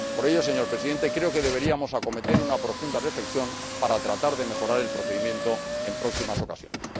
Por ello, señor Presidente, creo que deberíamos acometer una profunda reflexión para tratar de mejorar el procedimiento en próximas ocasiones.